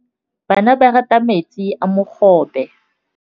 Bana ba rata metsi a mogobe.